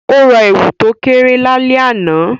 O ra èwù to kéré lálẹ́ àná